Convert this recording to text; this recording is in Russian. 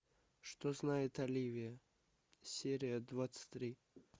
что знает оливия серия двадцать три